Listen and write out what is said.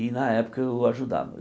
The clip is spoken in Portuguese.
E na época eu ajudava.